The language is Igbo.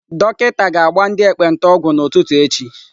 Dọkịta ga-agba ndị ekpenta ọgwụ n'ụtụtụ echi.